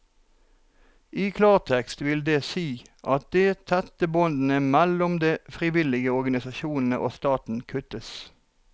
I klartekst vil det si at de tette båndene mellom de frivillige organisasjonene og staten kuttes.